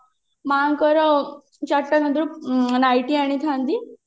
ମାଙ୍କର night ଆଣିଥାନ୍ତି